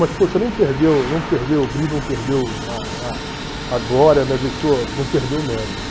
Mas poxa, não perdeu não perdeu o brilho, não perdeu a a a glória, não perdeu o mérito.